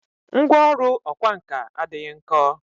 Ngwá ọrụ ọkwá nkà adịghị nkọ